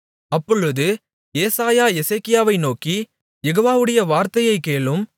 அப்பொழுது ஏசாயா எசேக்கியாவை நோக்கி யெகோவாவுடைய வார்த்தையைக் கேளும்